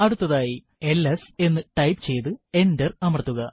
അടുത്തതായി എൽഎസ് എന്ന് ടൈപ്പ് ചെയ്തു എന്റർ അമർത്തുക